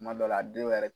Kuma dɔw la a dɔw yɛrɛ